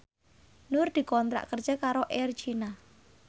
Nur dikontrak kerja karo Air China